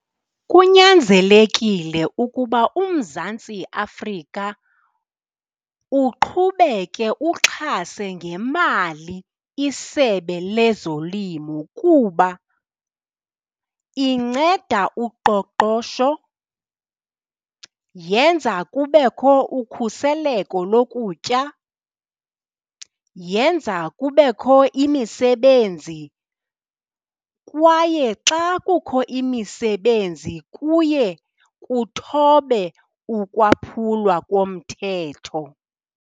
Kunyanzelekile ukuba uMzantsi Afrika uqhubeke uxhase ngemali iSebe lezoLimo kuba inceda uqoqosho, yenza kubekho ukhuseleko lokutya, yenza kubekho imisebenzi. Kwaye xa kukho imisebenzi kuye kuthobe ukwaphulwa komthetho.